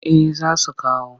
Eh za su kawo